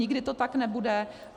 Nikdy to tak nebude.